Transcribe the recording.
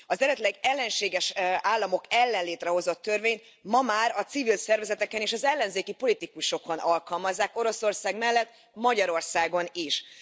Az eredetileg az ellenséges államok ellen létrehozott törvény ma már a civil szervezeteken és az ellenzéki politikusokon alkalmazzák Oroszország mellett Magyarországon is.